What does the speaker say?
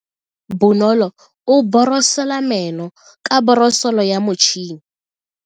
Bonolo o borosola meno ka borosolo ya motšhine.